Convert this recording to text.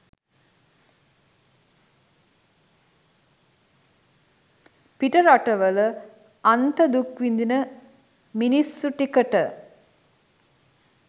පිට රටවල අන්ත දුක් විඳින මිනිස්සු ටිකට